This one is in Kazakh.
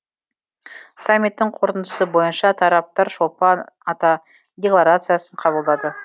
саммиттің қорытындысы бойынша тараптар шолпан ата декларациясын қабылдады